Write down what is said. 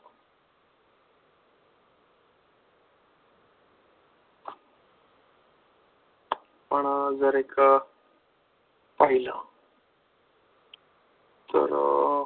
पण जर एक पाहिलं तर